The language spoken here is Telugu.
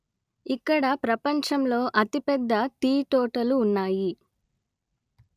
ఇక్కడ ప్రపంచంలో అతిపెద్ద టీతోటలు ఉన్నాయి